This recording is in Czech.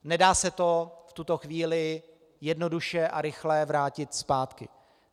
Nedá se to v tuto chvíli jednoduše a rychle vrátit zpátky.